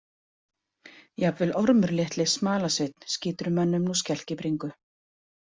Jafnvel Ormur litli smalasveinn skýtur mönnum nú skelk í bringu.